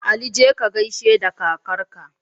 Ali jeka kagaishe da kakar ka